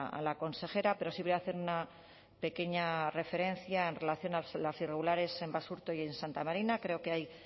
a la consejera pero si voy a hacer una pequeña referencia en relación a las irregularidades en basurto y en santa marina creo que hay